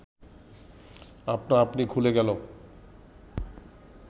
আপনা আপনি খুলে গেল